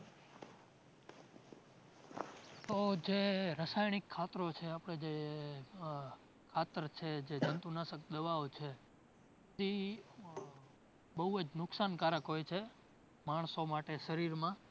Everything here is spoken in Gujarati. ઉહ જે રસાયણિક ખાતરો છે આપડે જે આહ ખાતર છે જે જંતુનાશક દવાઓ છે ઇ બોવ જ નુક્સાનકારક હોય છે માણસો માટે શરીરમાં